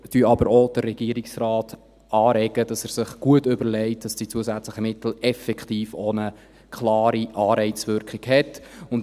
Wir regen aber auch den Regierungsrat an, sich gut zu überlegen, dass die zusätzlichen Mittel effektiv auch eine klare Anreizwirkung haben.